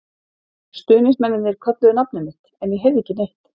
Stuðningsmennirnir kölluðu nafnið mitt, en ég heyrði ekki neitt.